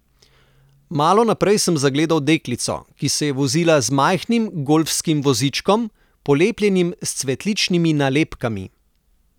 Malo naprej sem zagledala deklico, ki se je vozila z majhnim golfskim vozičkom, polepljenim s cvetličnimi nalepkami.